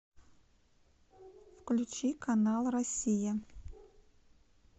включи канал россия